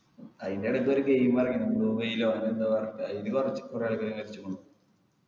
അയിൻ്റെടക്കൊരു game ഇറങ്ങി blue whale പറഞ്ഞിട്ട് കൊറേ ആൾക്കാര് മരിച്ച്ക്കുണു